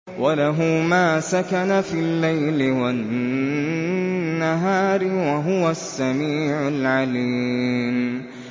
۞ وَلَهُ مَا سَكَنَ فِي اللَّيْلِ وَالنَّهَارِ ۚ وَهُوَ السَّمِيعُ الْعَلِيمُ